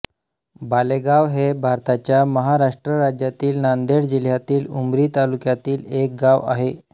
बालेगाव हे भारताच्या महाराष्ट्र राज्यातील नांदेड जिल्ह्यातील उमरी तालुक्यातील एक गाव आहे